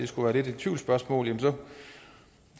skulle være et tvivlsspørgsmål vil